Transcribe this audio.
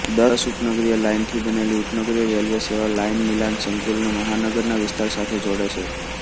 દસ ઉપનગરીય લાઇનથી બનેલી ઉપનગરીય રેલવે સેવા લાઇન મિલાન સંકુલને મહાનગરના વિસ્તાર સાથે જોડે છે